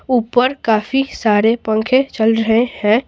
ऊपर काफी सारे पंखे चल रहे हैं।